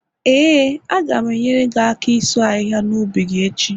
Ee, a ga m enyere gị aka ịsu ahịhịa n' ubi gị echi